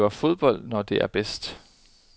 Det var fodbold, når det er bedst.